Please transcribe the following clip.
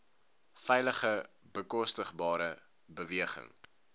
veilige bekostigbare beweging